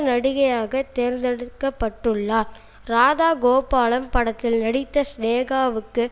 நடிகையாக தேர்ந்தெடுக்க பட்டுள்ளார் ராதா கோபாலம் படத்தில் நடித்த சினேகாவுக்கு